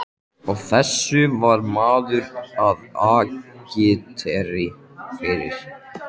Og þessu var maður að agitera fyrir!